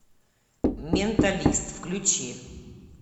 менталист включи